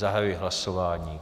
Zahajuji hlasování.